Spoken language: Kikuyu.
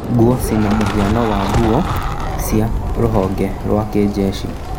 Nguo cĩĩna mũhiano wa nguo cia rũhonge rwa kĩnjeshi